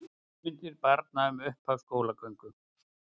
Hugmyndir barna um upphaf skólagöngu